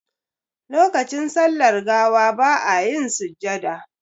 Lokacin sallar gawa ba a yin sujjada.